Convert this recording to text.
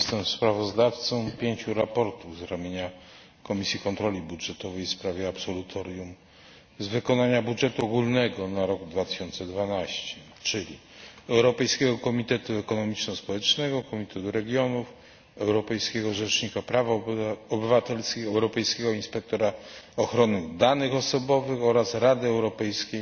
Jestem sprawozdawcą pięciu sprawozdań z ramienia Komisji Kontroli Budżetowej w sprawie absolutorium z wykonania budżetu ogólnego na rok 2012, czyli Europejskiego Komitetu Ekonomiczno Społecznego, Komitetu Regionów, Europejskiego Rzecznika Praw Obywatelskich, Europejskiego Inspektora Ochrony Danych Osobowych oraz Rady Europejskiej